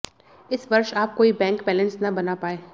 इस वर्ष आप कोई बैंक बैलेंस न बना पाएं